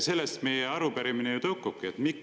Sellest meie arupärimine ju tõukubki.